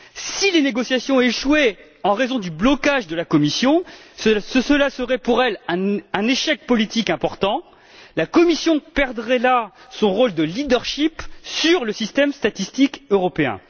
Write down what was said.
Si les négociations échouaient en raison du blocage de la Commission, cela constituerait pour elle un échec politique important la Commission perdrait là son rôle de leadership sur le système statistique européen.